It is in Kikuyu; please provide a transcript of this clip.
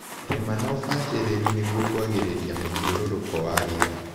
Rima na ũbacĩrĩru nĩguo kwagĩria mũthiũrũruko wa rĩera.